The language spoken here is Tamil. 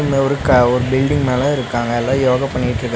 இங்க ஒரு க ஒரு பில்டிங் மேல இருக்காங்க எல்லா யோகா பண்ணிட்ருக்கா--